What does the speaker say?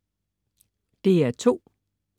DR2: